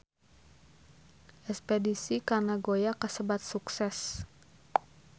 Espedisi ka Nagoya kasebat sukses